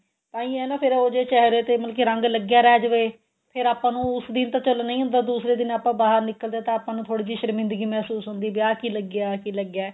ਤਾਂਹੀ ਏ ਨਾ ਫੇਰ ਉਹ ਜੇ ਚਿਹਰੇ ਤੇ ਮਤਲਬ ਕਿ ਰੰਗ ਲੱਗਿਆ ਰਹਿ ਜਾਵੇ ਫੇਰ ਆਪਾਂ ਨੂੰ ਉਸ ਦਿਨ ਤਾਂ ਚੱਲਣਾ ਹੀ ਹੁੰਦਾ ਦੂਸਰੇ ਦਿਨ ਆਪਾਂ ਬਾਹਰ ਨਿਕਲਦੇ ਹਾਂ ਤਾਂ ਆਪਾਂ ਨੂੰ ਥੋੜੀ ਜਿਹੀ ਸ਼ਰਮਿੰਦਗੀ ਹੁੰਦੀ ਵੀ ਆਹ ਕਿ ਲੱਗਿਆ ਆਹ ਕਿ ਲੱਗੀਆ